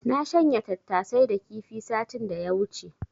Na shanya tattasai da kifi satin da ya wuce.